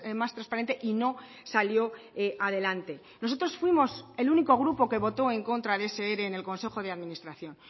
más transparente y no salió adelante nosotros fuimos el único grupo que voto en contra de ese ere en el consejo de administración